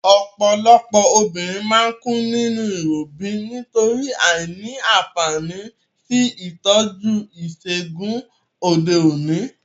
Òpòlopò obìnrin má n kú nínú ìrobí nítorí àìní ànfàní sí ìtójú ìsègùn òde òní